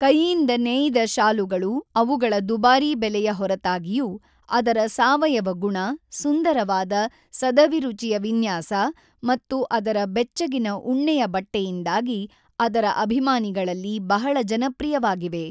ಕೈಯಿಂದ ನೇಯ್ದ ಶಾಲುಗಳು ಅವುಗಳ ದುಬಾರಿ ಬೆಲೆಯ ಹೊರತಾಗಿಯೂ, ಅದರ ಸಾವಯವ ಗುಣ, ಸುಂದರವಾದ, ಸದಭಿರುಚಿಯ ವಿನ್ಯಾಸ ಮತ್ತು ಅದರ ಬೆಚ್ಚಗಿನ ಉಣ್ಣೆಯ ಬಟ್ಟೆಯಿಂದಾಗಿ ಅದರ ಅಭಿಮಾನಿಗಳಲ್ಲಿ ಬಹಳ ಜನಪ್ರಿಯವಾಗಿವೆ.